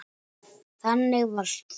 Þannig varst þú.